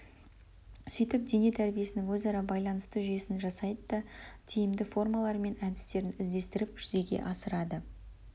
сөйтіп дене тәрбиесінің өзара байланысты жүйесін жасайды да тиімді формалары мен әдістерін іздестіріп жүзеге асырады